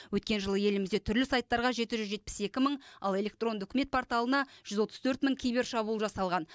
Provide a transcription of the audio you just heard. өткен жылы елімізде түрлі сайттарға жеті жүз жетпіс екі мың ал электронды үкімет порталына жүз отыз төрт мың кибершабуыл жасалған